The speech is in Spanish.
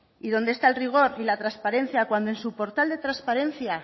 y dónde está el rigor y la transparencia cuando en su portal de transparencia